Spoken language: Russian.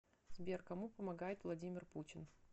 сбер кому помогает владимир путин